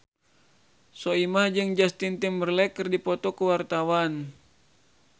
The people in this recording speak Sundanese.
Soimah jeung Justin Timberlake keur dipoto ku wartawan